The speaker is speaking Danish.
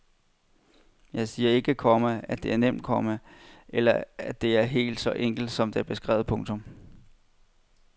Jeg siger ikke, komma at det er nemt, komma eller at alt er helt så enkelt som her beskrevet. punktum